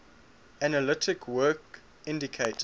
analytic work indicated